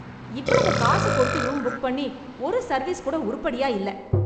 இவ்வளவு காசு கொடுத்து ரூம் புக் பண்ணி ஒரு சர்வீஸ் கூட உருப்படியா இல்ல.